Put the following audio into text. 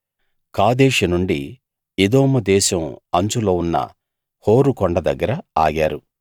కాదేషు నుండి ఎదోము దేశం అంచులో ఉన్న హోరు కొండ దగ్గర ఆగారు